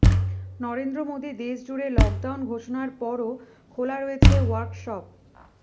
নরেন্দ্র মোদী দেশজুড়ে লকডাউন ঘোষণার পরও খোলা রয়েছে ওয়ার্কশপ